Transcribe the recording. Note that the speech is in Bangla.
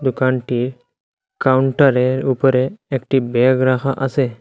দোকানটির কাউন্টারের উপরে একটি ব্যাগ রাখা আসে।